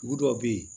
Dugu dɔw bɛ yen